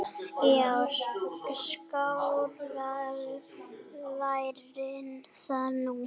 Já, skárra væri það nú.